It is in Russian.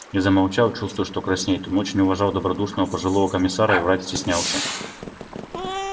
и замолчал чувствуя что краснеет он очень уважал добродушного пожилого комиссара и врать стеснялся